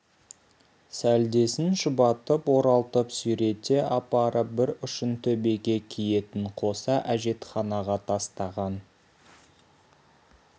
сәлдесін шұбатып оралтып сүйрете апарып бір ұшын төбеге киетін қоса әжетханаға тастаған